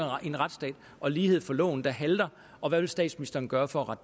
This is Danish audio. en retsstat og lighed for loven der halter og hvad vil statsministeren gøre for